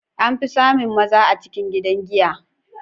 An fi samun maza a cikin gidan giya.